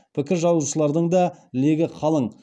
пікір жазушылардың да легі қалың